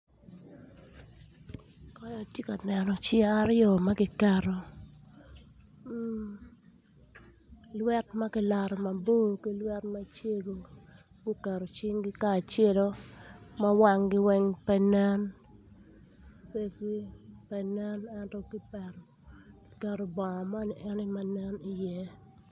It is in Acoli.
Kany atye ka neno cing aryo ma kiket lwet ma ki loto mabor ki lwet macego guketo cingi kacelo ma wangi weng pe nen face gi pe nen ento kipeto bongo moni ene ma nen iye